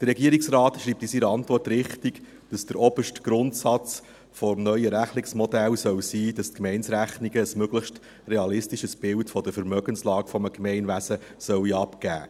Der Regierungsrat schreibt in seiner Antwort richtig, dass der oberste Grundsatz des neuen Rechnungsmodells sein soll, dass die Gemeinderechnungen ein möglichst realistisches Bild von der Vermögenslage eines Gemeindewesens abgeben.